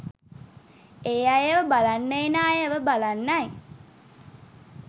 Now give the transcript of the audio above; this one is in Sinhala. ඒ අයව බලන්න එන අයව බලන්නයි.